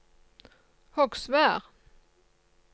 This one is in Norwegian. Hogsvær